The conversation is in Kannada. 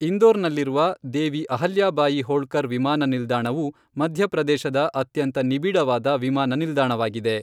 ಇಂದೋರ್ನಲ್ಲಿರುವ ದೇವಿ ಅಹಲ್ಯಾಬಾಯಿ ಹೋಳ್ಕರ್ ವಿಮಾನ ನಿಲ್ದಾಣವು ಮಧ್ಯಪ್ರದೇಶದ ಅತ್ಯಂತ ನಿಬಿಡವಾದ ವಿಮಾನ ನಿಲ್ದಾಣವಾಗಿದೆ.